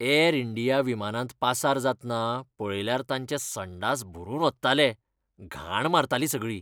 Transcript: Air India विमानांत पासार जातना पळयल्यार तांचे संडास भरून ओत्ताले, घाण मारताली सगळी.